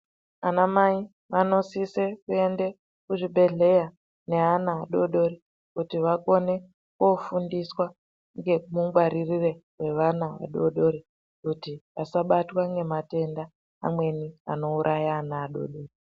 Ana Mai anosise kuenda kuzvibhedhlera neana adodori kuti vakone kofundiswa ngemungwaririre evana vadodori kuti asabatwa ngematenda amweni anouraya ana anodori.